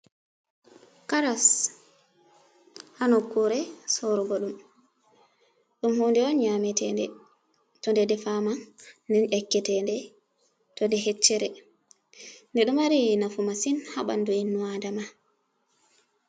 "Karas" ha nokkure sorugo ɗum, ɗum hunde on nyametende to nde defama nden yakketende to nde hecchere nde ɗo mari nafu masin ha bandu innu adama.